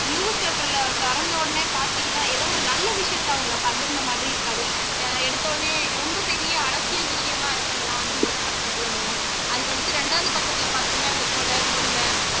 newspaper ல தொறந்த உடனே பாத்தீங்கன்னா ஏதோ ஒரு நல்ல விஷயத்தை அவங்க பகிர்ந்த மாதிரி இருக்காது அஹ் எடுத்தோன்னே ரொம்ப பெரிய அரசியல் விஷயமா இருக்குறதெல்லாம் முதல் பக்கத்துல வரும் அதுக்கு அடுத்து ரெண்டாவது பக்கத்துல பாத்தீங்கன்னா இந்த கொலை கொள்ளை